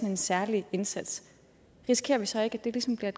en særlig indsats risikerer vi så ikke at det ligesom bliver